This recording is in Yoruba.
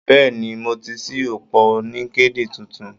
Bẹ́ẹ̀ni, mo ti ṣí òpó LinkedIn tuntun.